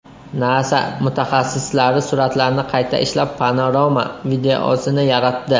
Nasa mutaxassislari suratlarni qayta ishlab, panorama videosini yaratdi.